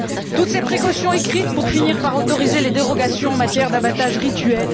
Toutes ces précautions écrites pour finir par autoriser les dérogations en matière d'abattage rituel.